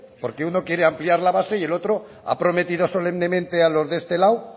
porque uno quiere ampliar la base y el otro ha prometido solemnemente a los de este lado